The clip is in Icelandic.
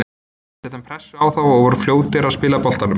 Við settum pressu á þá og vorum fljótir að spila boltanum.